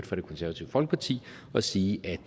fra det konservative folkeparti og sige at